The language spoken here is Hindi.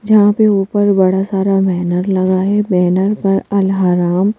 जहाँ पे ऊपर बड़ा सारा बैनर लगा है बैनर पर अलहराम--